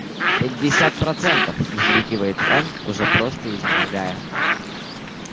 пятьдесят процентов взвизгивает он уже просто изнемогая